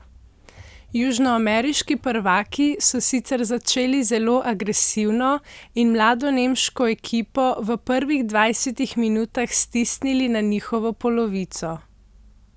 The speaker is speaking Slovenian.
Južnoameriški prvaki so sicer začeli zelo agresivno in mlado nemško ekipo v prvih dvajsetih minutah stisnili na njihovo polovico.